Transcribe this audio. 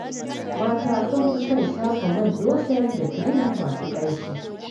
Mata sun fi son shafa man loshin da kirim masu ƙanshi.